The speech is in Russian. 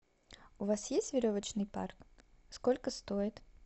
у вас есть веревочный парк сколько стоит